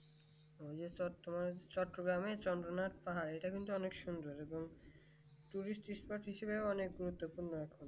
চট্টগ্রামে চন্দ্রনাথ এটা কিন্তু অনেক সুন্দর এবং অনেক গুরুত্বপূর্ণ